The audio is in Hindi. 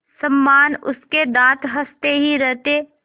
समान उसके दाँत हँसते ही रहते